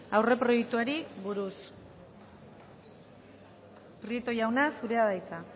aurreproiektuari buruz prieto jauna zurea da hitza